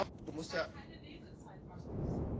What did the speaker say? Hver fann uppá sykri?